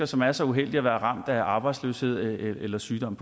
som er så uheldige at være ramt af arbejdsløshed eller sygdom